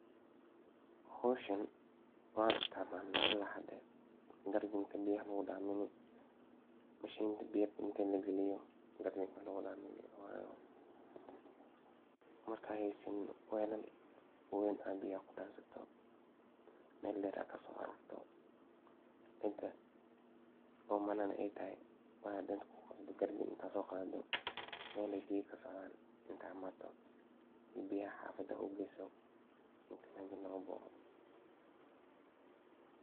Howshan waa isticmalna ilaa hada, meshinta oo bebka lagalini markad heysanin waa inaad galisa oo weel cag biyaha kudansato oo omanana ay tahay mejan aa imane si biyaha xafada u geysato.